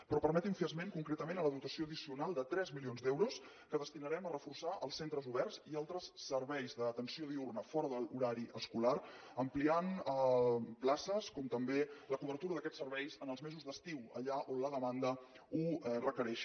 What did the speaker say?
però permeti’m fer esment concretament de la dotació addicional de tres milions d’euros que destinarem a reforçar els centres oberts i altres serveis d’atenció diürna fora de l’horari escolar ampliant places com també la cobertura d’aquests serveis els mesos d’estiu allà on la demanda ho requereixi